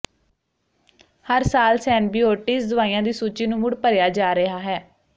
ਹਰ ਸਾਲ ਸੇਨਬੀਓਟੀਜ਼ ਦਵਾਈਆਂ ਦੀ ਸੂਚੀ ਨੂੰ ਮੁੜ ਭਰਿਆ ਜਾ ਰਿਹਾ ਹੈ